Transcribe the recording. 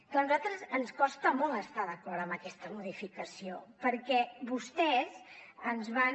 clar a nosaltres ens costa molt estar d’acord amb aquesta modificació perquè vostès ens van